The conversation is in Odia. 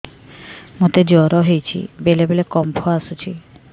ମୋତେ ଜ୍ୱର ହେଇଚି ବେଳେ ବେଳେ କମ୍ପ ଆସୁଛି